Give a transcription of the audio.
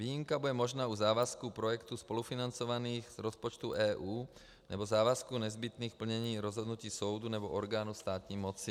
Výjimka bude možná u závazku projektů spolufinancovaných z rozpočtů EU nebo závazků nezbytných plnění rozhodnutí soudu nebo orgánů státní moci.